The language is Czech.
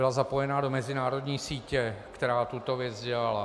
Byl zapojen do mezinárodní sítě, která tuto věc dělala.